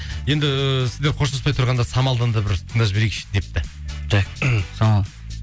енді сіздер қоштаспай тұрғанда самалдан да бір тыңдап жіберейікші депті самал